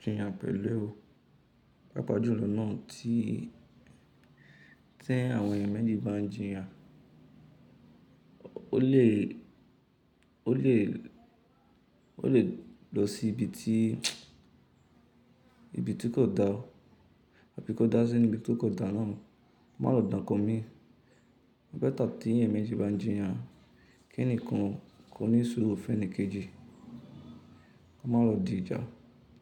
jiyàn pẹ̀lú ẹ. Pápá jùlọ náà tí ti àwọn ẹ̀eyàn méjì bá ń jiyàn, o lè lọ sí ibi tí kò da, àbí kò dá sí inu bi tí kò da náà, ko má lo dá nnkan mi. Ọ̀ better tí èeyàn méjì bá ń jiyàn, kí enikan ko nísuru féènì kejì, ko má lo di ìjà.